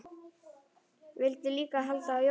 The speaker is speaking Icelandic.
Vildu líka halda jól.